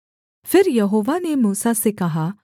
फिर यहोवा ने मूसा से कहा